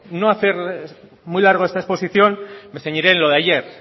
no hacerles muy largo esta exposición me ceñiré en lo de ayer